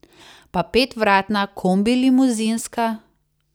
Pa petvratna kombilimuzinska?